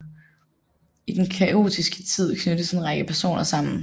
I den kaotiske tid knyttes en række personer sammen